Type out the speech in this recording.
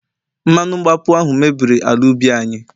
mmanu mgbapu ahu mebiri ala ubi anyi